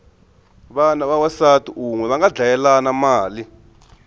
vana va wansati unwe vanga dlayelana mali